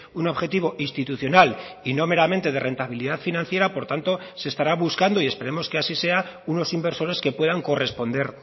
un objetivo institucional y no meramente de rentabilidad financiera por tanto se estará buscando y esperemos que así sea unos inversores que puedan corresponder